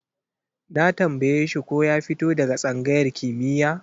Na tambaye shi ko ya fito daga tsangayar kimiyya?